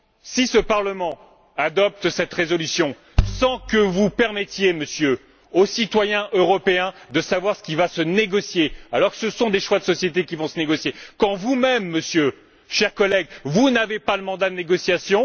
Si ce Parlement adopte cette résolution, sans que vous permettiez, Monsieur, aux citoyens européens de savoir ce qui va se négocier, alors que ce sont des choix de société qui vont se négocier, quand vous même, Monsieur, cher collègue, vous n'avez pas de mandat de négociation...